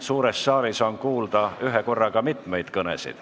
Suures saalis on kuulda ühekorraga mitu kõnet.